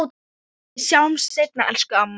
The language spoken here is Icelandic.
Við sjáumst seinna, elsku amma.